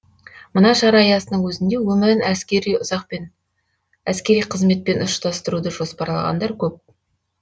мына шара аясының өзінде өмірін әскери қызметпен ұштастыруды жоспарлағандар көп